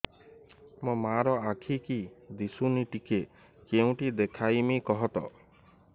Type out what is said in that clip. ମୋ ମା ର ଆଖି କି ଦିସୁନି ଟିକେ କେଉଁଠି ଦେଖେଇମି କଖତ